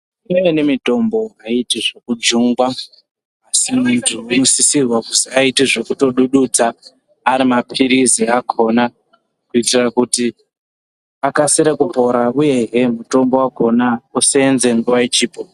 Imweni mitombo aiiti zvekujungwa munthu unosisirwa kuti aite zvekutodududza ari mapirizi akoona kuitira kuti akasire kupora uyehe mutombo wakona useenze nguwa ichipo.